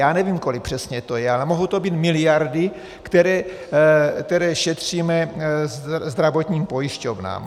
Já nevím, kolik to přesně je, ale mohou to být miliardy, které šetříme zdravotním pojišťovnám.